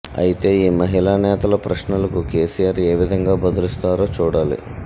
అయితే ఈ మహిళా నేతల ప్రశ్నలకు కేసీఆర్ ఏ విధంగా బదులిస్తారో చూడాలి